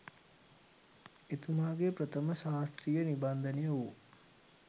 එතුමාගේ ප්‍රථම ශාස්ත්‍රීය නිබන්ධනය වූ